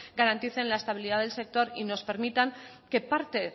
garanticen la estabilidad del sector y nos permitan que parte